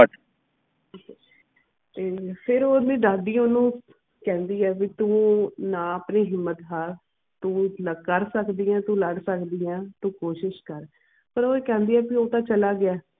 ਤੇ ਫਿਰ ਓਵੀ ਦੱਸਦੀ ਓਨੁਕੈਂਦੀ ਕਿ ਤੂੰ ਨਾ ਆਪਣੀ ਹਿੰਮਤ ਹਰ ਤੂੰ ਕਰ ਸਕਦੀ ਤੂੰ ਲੜ ਸਕਦੀ ਤੂੰ ਕੋਸ਼ਿਸ਼ ਕਰ ਫਿਰ ਓਇ ਕੈਂਦੀ ਕੇ ਉਹ ਤੇ ਚਲਾ ਗਿਆ.